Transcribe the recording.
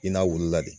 I n'a wulila de